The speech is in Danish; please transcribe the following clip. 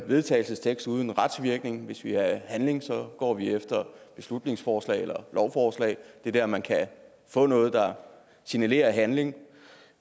vedtagelse uden retsvirkning hvis vi vil have handling går vi efter beslutningsforslag eller lovforslag det er der man kan få noget der signalerer handling